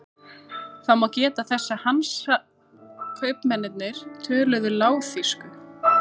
Það má geta þess að Hansakaupmennirnir töluðu lágþýsku.